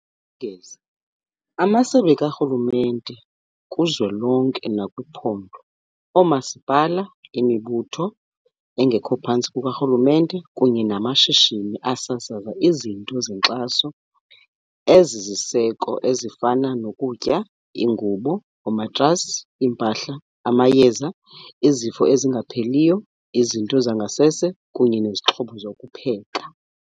ngeza, amasebe karhulumente kuzwelonke nakwiphondo, oomasipala, imibutho engekho phantsi kukarhulumente kunye namashishini asasaza izinto zenkxaso ezisisiseko ezifana nokutya, iingubo, oomatrasi, iimpahla, amayeza ezifo ezingapheliyo, izinto zangasese kunye nezixhobo zokupheka.